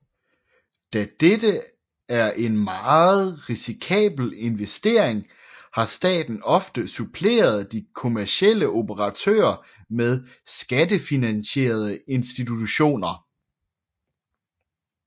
Da dette er en meget risikabel investering har staten ofte suppleret de kommercielle operatører med skattefinansierede institutioner